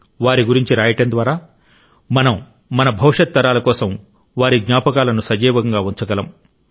వారి గురించి రాయడం ద్వారా మనం మన భవిష్యత్ తరాల కోసం వారి జ్ఞాపకాలను సజీవంగా ఉంచగలం